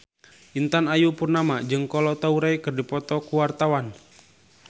Intan Ayu Purnama jeung Kolo Taure keur dipoto ku wartawan